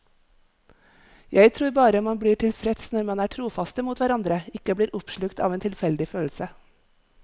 Jeg tror bare man blir mest tilfreds når man er trofaste mot hverandre, ikke blir oppslukt av en tilfeldig følelse.